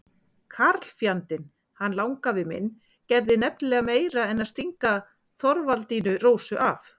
Karlfjandinn, hann langafi minn, gerði nefnilega meira en að stinga Þorvaldínu Rósu af.